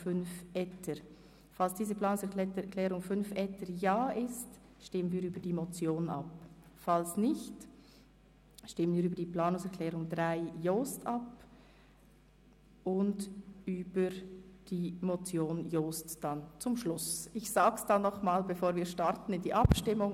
Sollte die Planungserklärung 5 nicht angenommen werden, würden wir über die Planungserklärung 3, Jost, abstimmen, und zum Schluss noch über die Motion Jost.